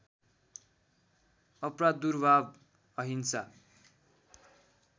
अप्रादुर्भाव अहिंसा